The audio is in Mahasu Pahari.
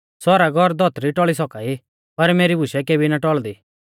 सौरग और धौतरी टौल़ी सौका ई पर मेरी बुशै केबी ना टौल़दी